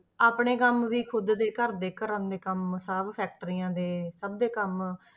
ਆਪਣੇ ਕੰਮ ਵੀ ਖੁੱਦ ਦੇ ਘਰ ਦੇ ਘਰਾਂ ਦੇ ਕੰਮ ਸਭ factories ਦੇ ਸਭ ਦੇ ਕੰਮ,